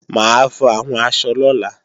Mà á fọ àwọn aṣọ lọ́la